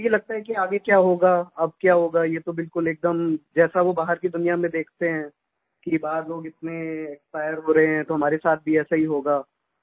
उनको यही लगता है कि आगे क्या होगा अब क्या होगा ये तो बिलकुल एकदम जैसा वो बाहर की दुनिया में देखते हैं कि बाहर लोग इतने एक्सपायर हो रहे हैं तो हमारे साथ भी ऐसा ही होगा